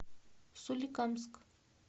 соликамск